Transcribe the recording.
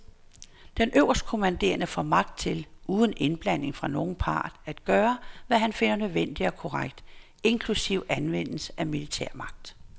Den øverstkommanderende får magt til, uden indblanding fra nogen part, at gøre, hvad han finder nødvendigt og korrekt, inklusive anvendelse af militær magt.